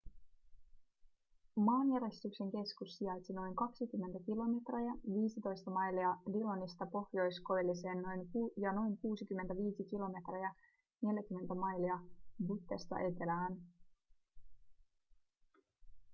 maanjäristyksen keskus sijaitsi noin 20 kilometriä 15 mailia dillonista pohjoiskoilliseen ja noin 65 kilometriä 40 mailia buttesta etelään